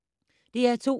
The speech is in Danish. DR2